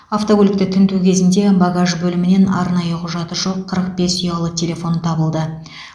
автокөлікті тінту кезінде багаж бөлімінен арнайы құжаты жоқ қырық бес ұялы телефон табылды